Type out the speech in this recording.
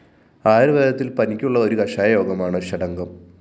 ആയുര്‍വേദത്തില്‍ പനിക്കുള്ള ഒരു കഷായ യോഗമാണ് ഷഡംഗം